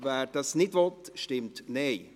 wer das nicht will, stimmt Nein.